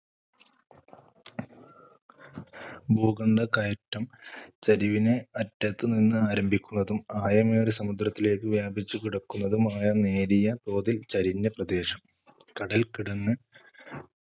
ഭൂഖണ്ഡ കയറ്റം ചരിവിനെ അറ്റത്തുനിന്ന് ആരംഭിക്കുന്നതും ആയമേറിയ സമുദ്രത്തിലേക്കു വ്യാപിച്ചു കിടക്കുന്നതുമായ നേരിയ തോതിൽ ചരിഞ്ഞ പ്രദേശം. കടൽക്കിടങ്ങ്